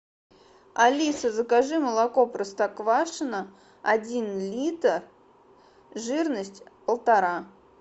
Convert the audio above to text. алиса закажи молоко простоквашино один литр жирность полтора